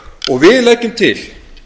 og við leggjum til